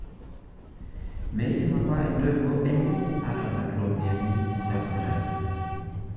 Meidim apa ntoiwuo enye aatalak iropiyiani e sekondari.